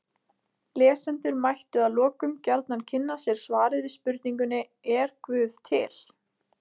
Lesendur mættu að lokum gjarnan kynna sér svarið við spurningunni Er guð til?